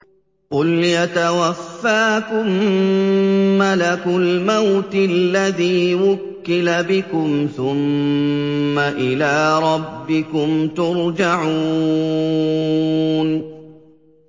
۞ قُلْ يَتَوَفَّاكُم مَّلَكُ الْمَوْتِ الَّذِي وُكِّلَ بِكُمْ ثُمَّ إِلَىٰ رَبِّكُمْ تُرْجَعُونَ